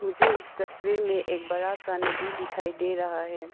मुझे इस तस्वीर में एक बड़ा सा नदी दिखाई दे रहा है।